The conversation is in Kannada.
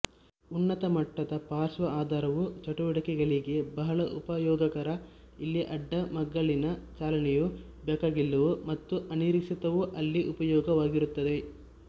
ಉನ್ನತ ಮಟ್ಟದ ಪಾರ್ಶ್ವ ಆಧಾರವು ಚಟುವಟಿಕೆಗಳಿಗೆ ಬಹಳ ಉಪಯೋಗಕರ ಎಲ್ಲಿ ಅಡ್ಡಮಗ್ಗಲಿನ ಚಲನೆಯು ಬೇಕಾಗಿಲ್ಲವೋ ಮತ್ತು ಅನಿರೀಕ್ಷಿತವೋ ಅಲ್ಲಿ ಉಪಯೋಗವಾಗಿರುತ್ತವೆ